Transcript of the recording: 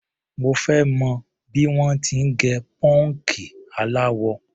Mo fẹ́ mọ̀ bí wọ́n ti ń gẹ pọ́ǹkì aláwọ.